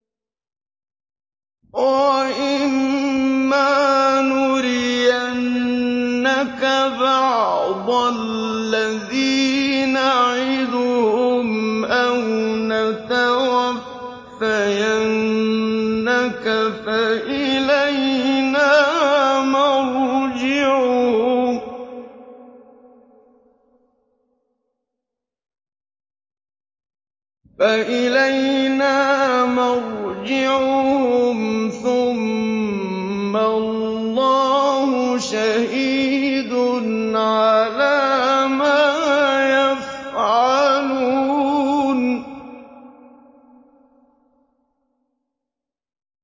وَإِمَّا نُرِيَنَّكَ بَعْضَ الَّذِي نَعِدُهُمْ أَوْ نَتَوَفَّيَنَّكَ فَإِلَيْنَا مَرْجِعُهُمْ ثُمَّ اللَّهُ شَهِيدٌ عَلَىٰ مَا يَفْعَلُونَ